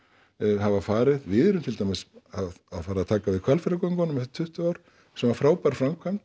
hafa farið við erum til dæmis að fara að taka við Hvalfjarðargöngunum eftir tuttugu ár sem var frábær framkvæmd